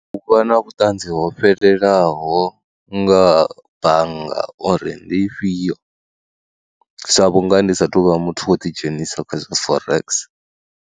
U vha na vhuṱanzi ho fhelelaho nga bannga uri ndi ifhio sa vhunga ndi saathu vha muthu wo ḓidzhenisa kha zwa Forex.